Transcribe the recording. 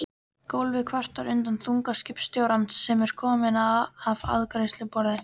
Gólfið kvartar undan þunga skipstjórans sem er kominn að afgreiðsluborð